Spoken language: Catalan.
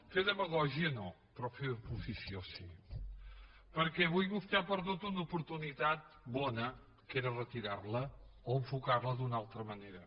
fer demagògia no però fer oposició sí perquè avui vostè ha perdut una oportunitat bona que era retirar la o enfocar la d’una altra manera